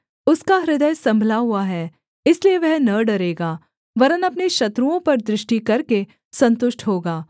उसका हृदय सम्भला हुआ है इसलिए वह न डरेगा वरन् अपने शत्रुओं पर दृष्टि करके सन्तुष्ट होगा